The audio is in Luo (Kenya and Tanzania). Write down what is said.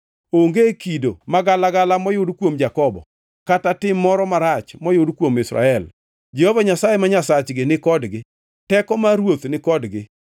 “Onge kido magalagala moyud kuom Jakobo, kata tim moro marach moyud kuom Israel. Jehova Nyasaye ma Nyasachgi ni kodgi; teko mar Ruoth ni kodgi.